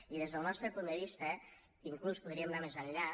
i des del nostre punt de vista inclús podríem anar més enllà